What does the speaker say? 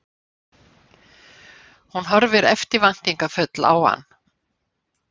Hún horfir eftirvæntingarfull á hann.